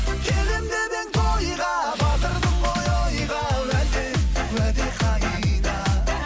келемін деп едің тойға батырдың ғой ойға уәде уәде қайда